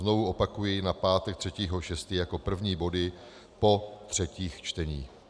Znovu opakuji: na pátek 3. 6. jako první body po třetích čteních.